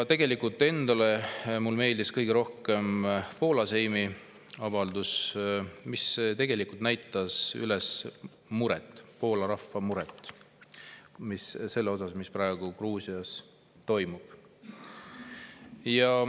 Tegelikult mulle endale meeldis kõige rohkem Poola Seimi avaldus, mis näitas üles Poola rahva muret selle pärast, mis praegu Gruusias toimub.